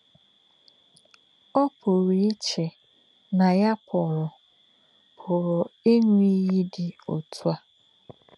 Ọ́ pụ̀rụ́ ìchè̄ nà̄ yá̄ pụ̀rụ́ pụ̀rụ́ ị̀ṅụ́ ìyì̄ dị́ ọ̀tụ̀ ā̄.